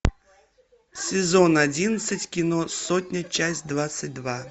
сезон одиннадцать кино сотня часть двадцать два